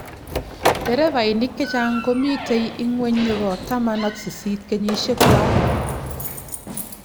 nderefainik chechang komito ingweny nebo taman ak sisit kenyishiekwai